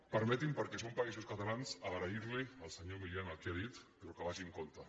permeti’m perquè som països catalans agrair li al senyor milián el que ha dit però que vagi amb compte